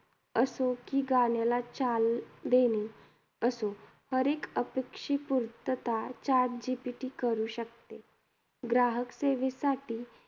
असो कि गाण्याला चाल देणे असो, हरएक अपेक्षपुर्तता chat GPT करू शकते. ग्राहक सेवेसाठी